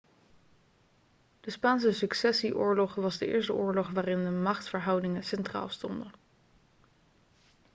de spaanse successieoorlog was de eerste oorlog waarin de machtsverhoudingen centraal stonden